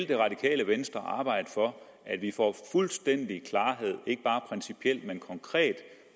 det radikale venstre vil arbejde for at vi får fuldstændig klarhed ikke bare principielt men konkret